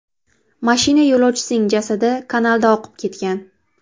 Mashina yo‘lovchisining jasadi kanalda oqib ketgan.